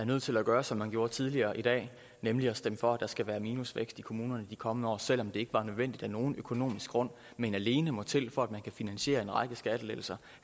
er nødt til at gøre som man gjorde tidligere i dag nemlig stemme for at der skal være minusvækst i kommunerne i de kommende år selv om det ikke var nødvendigt af nogen økonomisk grund men alene må til for at man kan finansiere en række skattelettelser